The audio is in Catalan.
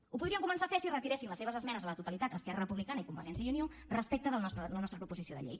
ho podrien començar a fer si retiressin les seves esmenes a la totalitat esquerra republicana i convergència i unió respecte de la nostra proposició de llei